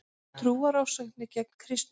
Trúarofsóknir gegn kristnum